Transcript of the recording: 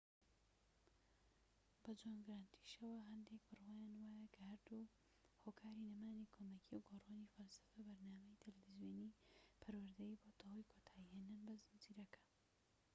بە جۆن گرانتیشەوە هەندێک بڕوایان وایە کە هەردوو هۆکاری نەمانی کۆمەکیی و گۆڕینی فەلسەفەی بەرنامەی تەلەڤیزۆنیی پەروەردەیی بۆتە هۆی کۆتایی هێنان بە زنجیرەکە